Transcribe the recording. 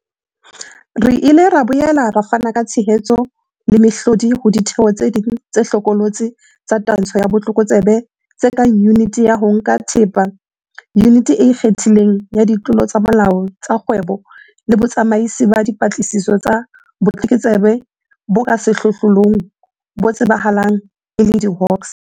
Re ile ra boela re fana ka tshehetso le mehlodi ho ditheo tse ding tse hlokolotse tsa twantsho ya botlokotsebe tse kang Yuniti ya ho Nka Thepa, Yuniti e Ikgethileng ya Ditlolo tsa Molao tsa Dikgwebo le Botsamaisi ba Dipatlisiso tsa Botlokotsebe bo ka Sehlohlolong, bo tsebahalang e le diHawks.